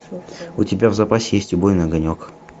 у тебя в запасе есть убойный огонек